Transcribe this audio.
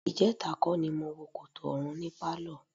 Ìjẹta kọ́ ni mo wo Kòtò Ọ̀run ní pálọ̀.